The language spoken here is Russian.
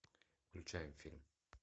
включаем фильм